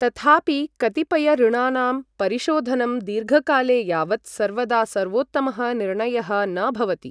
तथापि, कतिपयऋणानां परिशोधनं दीर्घकाले यावत् सर्वदा सर्वोत्तमः निर्णयः न भवति।